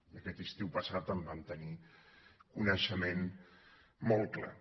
i aquest estiu passat en vam tenir coneixement molt clar